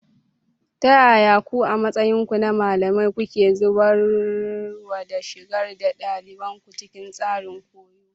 Ta yaya ku, a matsayinku na malamai, kuke zaburarwa da shigar da ɗaliban ku cikin tsarin koyo?